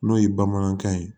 N'o ye bamanankan ye